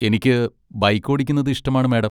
എനിക്ക് ബൈക്ക് ഓടിക്കുന്നത് ഇഷ്ടമാണ്, മാഡം.